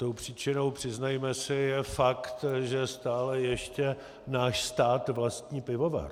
Tou příčinou, přiznejme si, je fakt, že stále ještě náš stát vlastní pivovar.